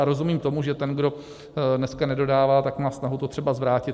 A rozumím tomu, že ten, kdo dneska nedodává, tak má snahu to třeba zvrátit.